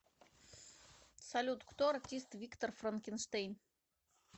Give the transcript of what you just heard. салют кто артист виктор франкенштейн